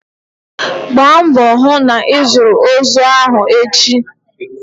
Gbaa mbọ hụ na ịzụrụ ozu ahụ echi!